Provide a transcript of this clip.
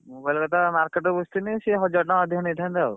Mobile କଥା market ରେ ବୁଝିଥିଲି। ସେ ହଜାର ଟଙ୍କା ଅଧିକା ନେଇଥାନ୍ତେ ଆଉ।